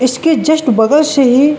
इसके जस्ट बगल से ही।